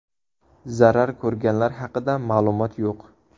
Zarar ko‘rganlar haqida ma’lumot yo‘q.